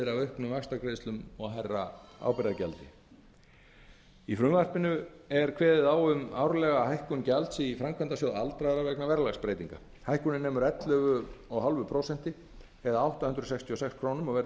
auknum vaxtagreiðslum og hærra ábyrgðargjaldi lög um málefni aldraðra í frumvarpinu er kveðið á um árlega hækkun gjalds í framkvæmdasjóð aldraðra vegna verðlagsbreytinga hækkunin nemur ellefu og hálft prósent eða átta hundruð sextíu og sex krónum og verður